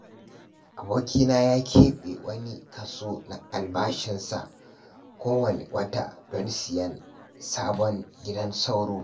Abokina ya keɓe wani kaso na albashinsa kowanne wata don sayen sabon gidan sauro.